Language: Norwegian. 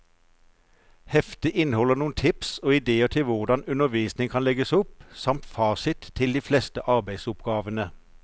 Heftet inneholder noen tips og idéer til hvordan undervisningen kan legges opp, samt fasit til de fleste arbeidsoppgavene.